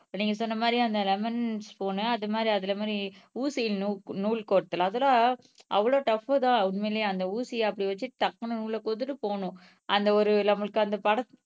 நீங்க சொன்ன மாதிரி அந்த லெமன் ஸ்பூன் அது மாதிரி அதுல மாதிரி ஊசியில் நூ நூல் கோர்த்தல் அதெல்லாம் அவ்வளவு டப் தான் உண்மையிலேயே அந்த ஊசியை அப்படி வச்சு டக்குன்னு உள்ளே குத்திட்டு போகணும். அந்த ஒரு நம்மளுக்கு அந்த படத்